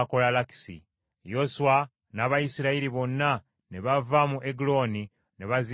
Yoswa n’Abayisirayiri bonna ne bava mu Eguloni ne bazinda Kebbulooni,